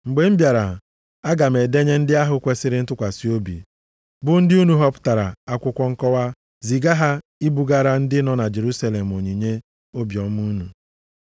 Mgbe m bịara, aga m edenye ndị ahụ kwesiri ntụkwasị obi, bụ ndị unu họpụtara akwụkwọ nkọwa, ziga ha ibugara ndị nọ na Jerusalem onyinye obiọma unu.